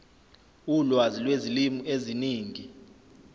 ulwazi lwezilimi eziningi